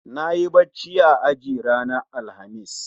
Nayi bacci a aji ranar Alhamis